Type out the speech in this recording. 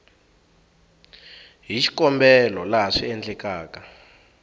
hi xikombelo laha swi endlekaka